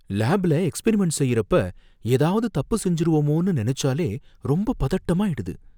லேப்ல எக்ஸ்பிரிமெண்ட் செய்றப்ப ஏதாவது தப்பு செஞ்சுருவோமோனு நெனச்சாலே ரொம்ப பதட்டமாயிடுது.